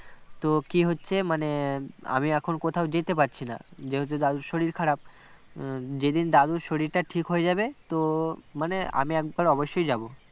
তো কি হচ্ছে মানে আমি এখন কোথাও যেতে পারছি না যেহেতু দাদুর শরীর খারাপ যেদিন দাদুর শরীরটা ঠিক হয়ে যাবে তো মানে আমি একবার অবশ্যই যাব